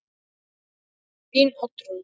Þín Oddrún.